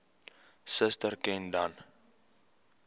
suster ken dan